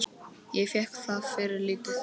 Ég fékk það fyrir lítið.